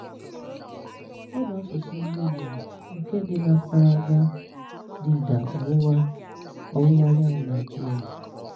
Ọ̀ bụ̀ àsụ̀sụ̀ ndị́ Ìgbò nkè dị̀ n’mpáràgá dị̀dà ọ̀wụ̀wà ọ̀wụ̀wà anyánwụ̀ Naị́jíríà